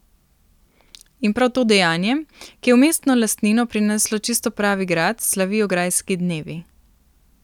In prav to dejanje, ki je v mestno lastnino prineslo čisto pravi grad, slavijo Grajski dnevi.